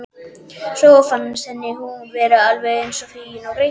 Svo fannst henni hún vera alveg eins fín ógreidd.